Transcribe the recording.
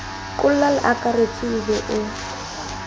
qolla leakaretsi o be o